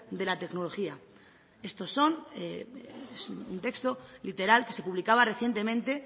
de la tecnología estos son un texto literal que se publicaba recientemente